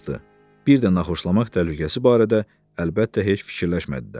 Birdən naxoşlamaq təhlükəsi barədə əlbəttə heç fikirləşmədi də.